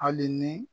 Hali ni